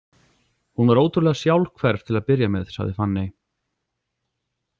Hún var ótrúlega sjálfhverf til að byrja með, sagði Fanney.